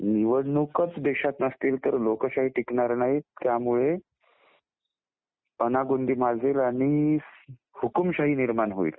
निवडणूकच नसतील तर देशात लोकशाही टिकणार नाही. त्यामुळे अनागोंदी माजेल आणि हुकूमशाही निर्माण होईल